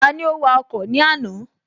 Tani ó wa ọkọ̀ ní àná?